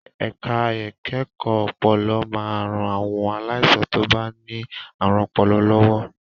Ẹ̀ka ìkẹ́kọ̀ọ́ ọpọlọ máa ń ran àwọn aláìsàn tó bá ní àrùn ọpọlọ lọ́wọ́.